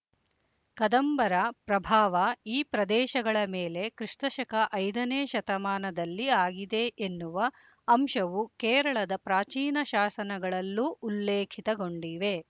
ಕದಂಬರ ಪ್ರಭಾವ ಈ ಪ್ರದೇಶಗಳ ಮೇಲೆ ಕ್ರಿಸ್ತ ಶಕ ಐದನೇ ಶತಮಾನದಲ್ಲಿ ಆಗಿದೆ ಎನ್ನುವ ಅಂಶವು ಕೇರಳದ ಪ್ರಾಚೀನ ಶಾಸನಗಳಲ್ಲೂ ಉಲ್ಲೇಖಿತಗೊಂಡಿವೆ